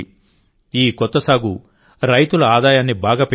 ఈ కొత్త సాగు రైతుల ఆదాయాన్ని బాగా పెంచింది